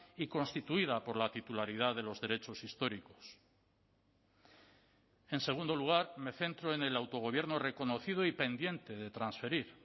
y constituida por la titularidad de los derechos históricos en segundo lugar me centro en el autogobierno reconocido y pendiente de transferir